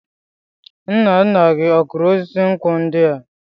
Nna nna gị ọ kụrụ osisi nkwụ ndi a?